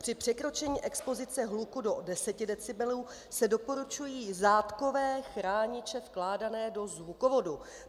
Při překročení expozice hluku do 10 decibelů se doporučují zátkové chrániče vkládané do zvukovodu.